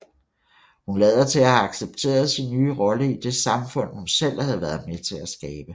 Hun lader til at have accepteret sin nye rolle i det samfund hun selv har været med til skabe